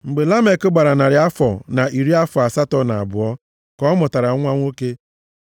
Mgbe Lamek gbara narị afọ na iri afọ asatọ na abụọ ka ọ mụtara nwa nwoke.